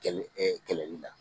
Kɛlɛ kɛlɛli la.